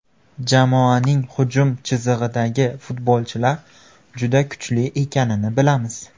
Jamoaning hujum chizig‘idagi futbolchilar juda kuchli ekanini bilamiz.